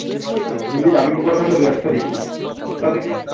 হ্যা হিন্দি dubbing করা থাকলে দু একটা দেখি তাও দেখি না